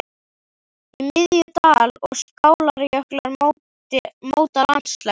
Í miðju: dal- og skálarjöklar móta landslagið.